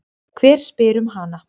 Hver spyr um hana?